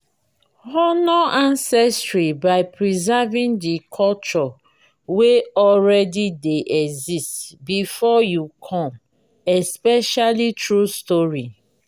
honor ancestry by preserving the culture wey already de exist before you come especially through story